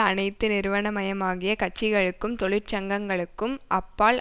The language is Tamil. அனைத்து நிறுவனமயமாகிய கட்சிகளுக்கும் தொழிற்சங்கங்களுக்கும் அப்பால்